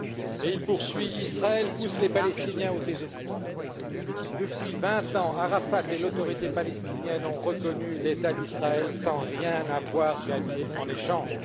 Et il poursuit Israël pousse les Palestiniens au désespoir. Depuis vingt ans, Arafat et l'Autorité palestinienne ont reconnu l'État d'Israël sans rien avoir gagné en échange.